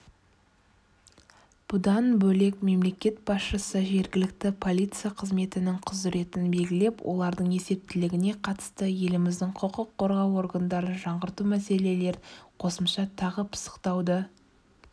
бұдан бөлек мемлекет басшысы жергілікті полиция қызметінің құзыретін белгілеп олардың есептілігіне қатысты еліміздің құқық қорғау органдарын жаңғырту мәселелерін қосымша тағы пысықтауды